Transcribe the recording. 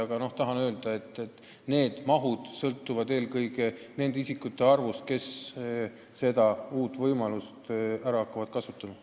Aga tahan öelda, et need mahud sõltuvad eelkõige nende isikute arvust, kes uusi võimalusi ära hakkavad kasutama.